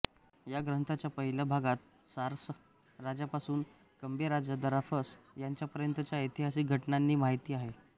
या ग्रंथाच्या पहिल्या भागात सारस राजापासून कॅम्बे राजा दराफस याच्यापर्यंतच्या ऐतिहासिक घटनांची माहिती आहे